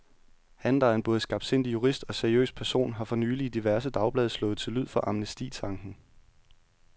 Han, der er en både skarpsindig jurist og seriøs person, har for nylig i diverse dagblade slået til lyd for amnestitanken.